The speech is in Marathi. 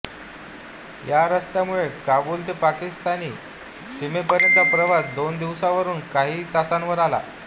या रस्त्यामुळे काबूल ते पाकिस्तानी सीमेपर्यंतचा प्रवास दोन दिवसांवरून काही तासांवर आला